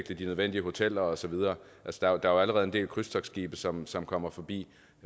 de nødvendige hoteller og så videre altså der er jo allerede en del krydstogtskibe som som kommer forbi